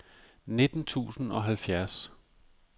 nitten tusind og halvfjerds